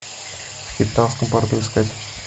в кейптаунском порту искать